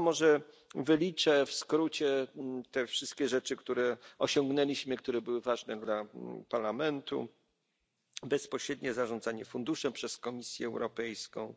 Może tylko wyliczę w skrócie te wszystkie rzeczy, które osiągnęliśmy, które były ważne dla Parlamentu bezpośrednie zarządzanie funduszem przez Komisję Europejską,